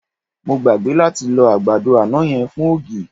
Mo gbàgbé láti lọ àgbàdo àná yẹn fún ògì.